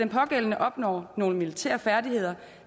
pågældende opnår nogle militære færdigheder